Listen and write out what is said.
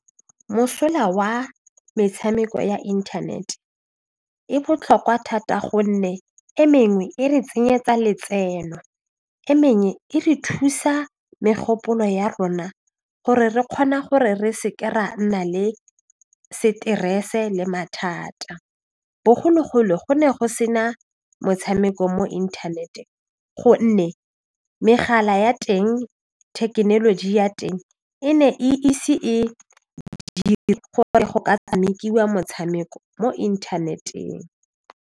Mosola wa metshameko ya internet e botlhokwa thata gonne e mengwe e re tsenyetsa letseno e mengwe e re thusa megopolo ya rona gore re kgona gore re se ke ra nna le stress-e le mathata, bogologolo go ne go se na motshameko mo inthanete gonne megala ya teng thekenoloji ya teng e ne e ise e tshamekiwa motshameko mo inthaneteng.